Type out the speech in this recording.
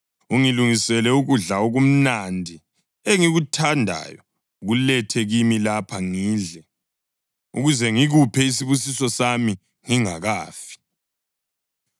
Ungilungisele ukudla okumnandi engikuthandayo ukulethe kimi lapha ngidle, ukuze ngikuphe isibusiso sami ngingakafi.”